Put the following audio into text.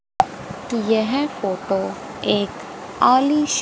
यह फोटो एक आली--